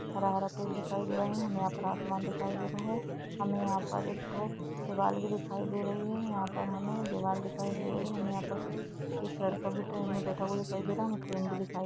हरा-हरा पेड़ दिखाई दे रहा है। हमे आ-आसमान दिखाई दे रहा है हमे यहाँ पर एक थोक दीवार भी दिखाई दे रही है। यहाँ पर हमे दीवार दिखाई दे रही है। हमें यहाँ पर एक लड़का ट्रेन मे बैठा हुआ दिखाई दे रही है। ट्रेन भी दिखाई--